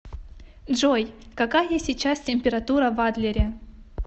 джой какая сейчас температура в адлере